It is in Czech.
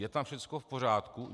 Je tam všechno v pořádku?